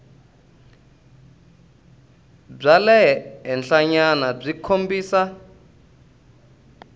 bya le henhlanyana byi kombisa